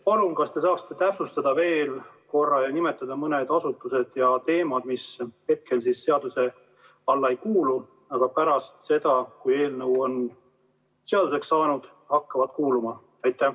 Palun, kas te saaksite täpsustada veel korra ja nimetada mõne asutuse ning teema, mis hetkel seaduse alla ei kuulu, aga pärast seda, kui eelnõu on seaduseks saanud, hakkavad kuuluma?